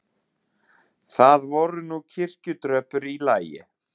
Það voru nú kirkjutröppur í lagi.